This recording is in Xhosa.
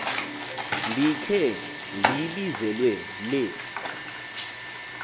ndikhe ndibizelwe le